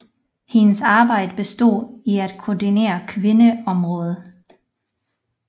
Hendes arbejde bestod i at koordinere kvindeområdet